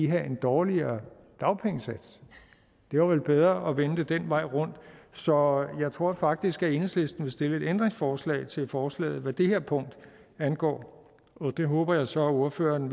have en dårligere dagpengesats det var vel bedre at vende det den vej rundt så jeg tror faktisk at enhedslisten vil stille et ændringsforslag til forslaget hvad det her punkt angår og det håber jeg så ordføreren